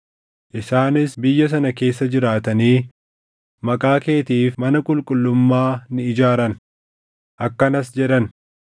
Isaanis biyya sana keessa jiraatanii Maqaa keetiif mana qulqullummaa ni ijaaran; akkanas jedhan: